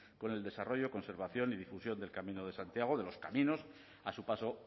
con el desarrollo conservación y difusión del camino de santiago de los caminos a su paso